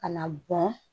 Ka na bɔn